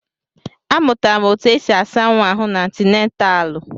Amụtara m etu esi asa nwa ahụ n'antinataalu.